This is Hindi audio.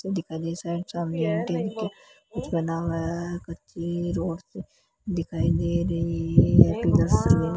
दिखा रिसर्च ऑफ मेंटेन के कुछ बना हुआ है कच्ची रोड से दिखाई दे रही है एक --